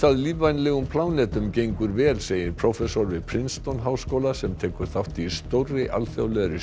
að lífvænlegum plánetum gengur vel segir prófessor við háskóla sem tekur þátt í stórri alþjóðlegri